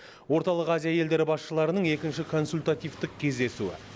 орталық азия елдері басшыларының екінші консультативтік кездесуі